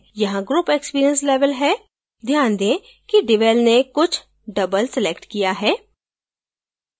यहाँ group experience level है ध्यान दें कि devel ने कुछ double selected किया है